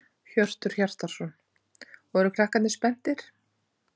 Hjörtur Hjartarson: Og eru krakkarnir spenntir?